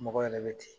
Mɔgɔ yɛrɛ bɛ ten